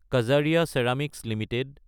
Kajaria ceramics Ltd